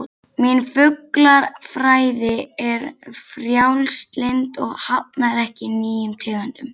Mín fuglafræði er frjálslynd og hafnar ekki nýjum tegundum